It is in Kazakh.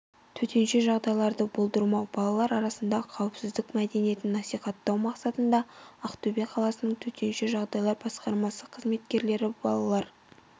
төтенше жағдайларды болдырмау балалар арасында қауіпсіздік мәдениетін насихаттау мақсатында ақтөбе қаласының төтенше жағдайлар басқармасы қызметкерлері балалар